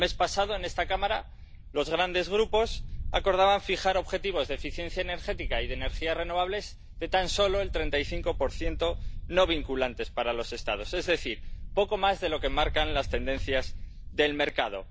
El mes pasado, en esta Cámara, los grandes grupos acordaban fijar objetivos de eficiencia energética y de energías renovables de tan solo el 35 no vinculantes para los Estados, es decir, poco más de lo que marcan las tendencias del mercado.